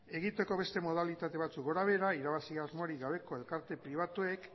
egiteko beste modalitate batzuek gora behera irabazi asmorik gabeko elkarte pribatuek